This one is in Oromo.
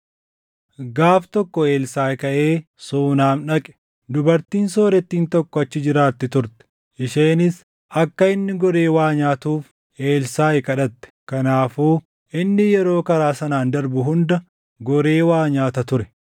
Gaaf tokko Elsaaʼi kaʼee Suunam dhaqe. Dubartiin soorettiin tokko achi jiraatti turte; isheenis akka inni goree waa nyaatuuf Elsaaʼi kadhatte. Kanaafuu inni yeroo karaa sanaan darbu hunda goree waa nyaata ture.